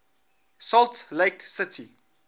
salt lake city